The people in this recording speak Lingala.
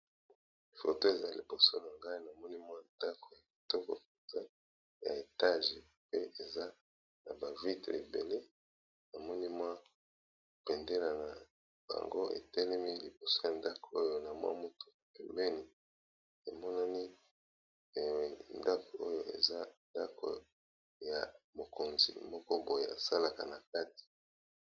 Photo oyo eza liboso na nga, namoni ndaku moko ya munene, pe na béndélé eza na kati ya ndaku yango